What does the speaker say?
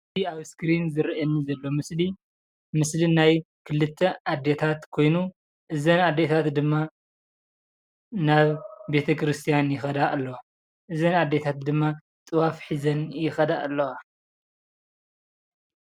እዚ ምስሊ ኣዴታት ሃይማኖት ክርስትና ተኸተልቲ ንቤተክርስትያ ንጥዋፍ ሒዘን ይኸዳ ኣለዋ።